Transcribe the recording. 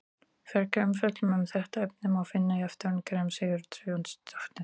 Frekari umfjöllun um þetta efni má finna í eftirfarandi greinum: Sigríður Sigurjónsdóttir.